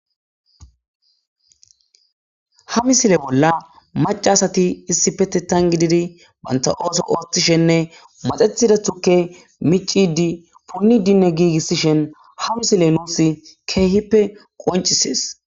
Ha misile bolla macca asati issippeteththan gididi banta ooso ooththishe maxettido tukke miccidi punnidinne giigisishin ha misile nuusi keehippe qonccisees.